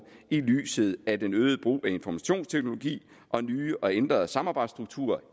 i lyset af den øgede brug af informationsteknologi og nye og ændrede samarbejdsstrukturer